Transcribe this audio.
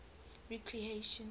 recreation